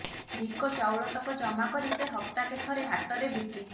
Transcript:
ଭିକ ଚାଉଳତକ ଜମା କରି ସେ ହପ୍ତାକେ ଥରେ ହାଟରେ ବିକେ